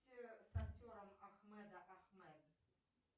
с актером ахмеда ахмед